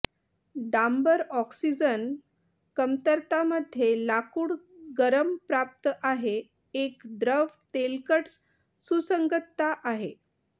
डांबर oxygen कमतरता मध्ये लाकूड गरम प्राप्त आहे एक द्रव तेलकट सुसंगतता आहे